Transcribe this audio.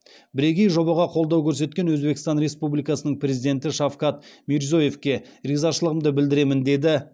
бірегей жобаға қолдау көрсеткен өзбекстан республикасының президенті шавкат мирзиеевке ризашылығымды білдіремін деді